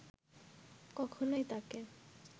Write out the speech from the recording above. কখনোই তাঁকে